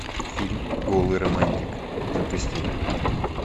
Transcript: фильм голый романтик запусти